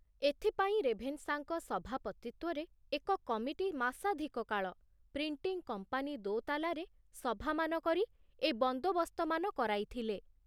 ଏଥିପାଇଁ ରେଭେନ୍ସାଙ୍କ ସଭାପତିତ୍ବରେ ଏକ କମିଟି ମାସାଧିକ କାଳ ପ୍ରିଣ୍ଟିଂ କମ୍ପାନୀ ଦୋତାଲାରେ ସଭାମାନ କରି ଏ ବନ୍ଦୋବସ୍ତମାନ କରାଇଥିଲେ।